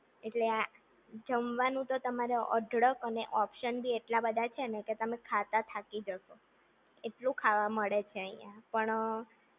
એટેલ આ જમવાનું તો તમે અઢળક અને ઓપ્શન બી એટલા બધા છે ને કે તમે ખાતા થાકી જશો, એટલું ખાવા મળે છે અહી પણ